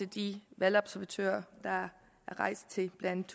de valgobservatører der er rejst til blandt